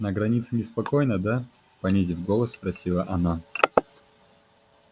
на границе неспокойно да понизив голос спросила она